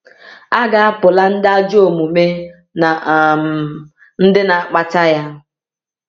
A ga-apụla ndị ajọ omume na um ndị na-akpata ya.